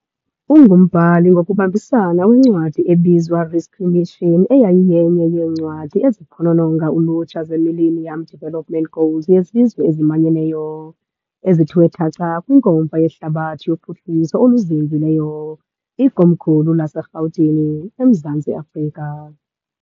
Ungumbhali ngokubambisana wencwadi ebizwa, 'Rescue Mission', eyayiyenye yeencwadi eziphonononga ulutsha zeMillennium Development Goals yeZizwe eziManyeneyo ezithiwe thaca kwiNkomfa yeHlabathi yoPhuhliso oluZinzileyo , ikomkhulu laseRhawutini. , Mzantsi Afrika.